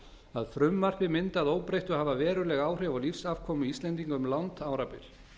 að frumvarpið mundi að óbreyttu hafa veruleg áhrif á lífsafkomu íslendinga um langt árabil